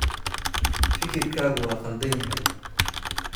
Fikirkaagu waa khaldan yahay.